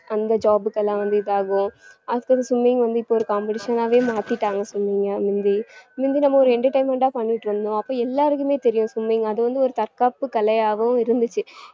அந்த job க்கு எல்லாம் வந்து இது ஆகும் அப்புறம் swimming வந்து இப்ப ஒரு competition ஆவே மாத்திட்டாங்க swimming ஆ முந்தி முந்தி நம்ம ஒரு entertainment ஆ பண்ணிட்டு இருந்தோம் அப்போ எல்லாருக்குமே தெரியும் swimming அது வந்து ஒரு தற்காப்பு கலை ஆகவும் இருந்துச்சு